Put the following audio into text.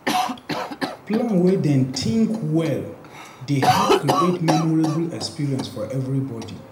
Plan wey dem think well dey help create memorable experiences for everybody.